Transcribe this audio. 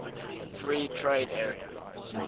free trade area